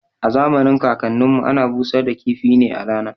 A zamanin kakan nin mu ana busar da kifi ne a rana